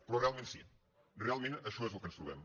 però realment sí realment això és el que ens trobem